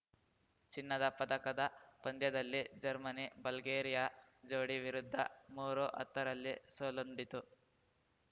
ಚಿನ್ನದ ಪದಕದ ಪಂದ್ಯದಲ್ಲಿ ಜರ್ಮನಿಬಲ್ಗೇರಿಯಾ ಜೋಡಿ ವಿರುದ್ಧ ಮೂರುಹತ್ತರಲ್ಲಿ ಸೋಲುಂಡಿತು